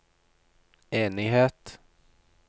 enighet